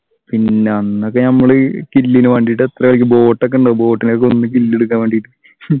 പിന്നെ അന്നൊക്കെ നമ്മള് chill ന് വേണ്ടീട്ട് എത്ര കളിക്കും boat ഒക്കെ ഉണ്ടാകും boat നൊക്കെ പോവുമ്പ chill എടുക്കാൻ വേണ്ടീട്ട് ഹും